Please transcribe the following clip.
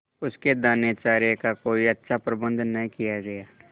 उसके दानेचारे का कोई अच्छा प्रबंध न किया गया